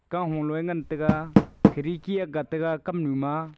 kahu lo ee ngantaga khidki agga taga kamnu ma.